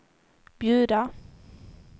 bjuda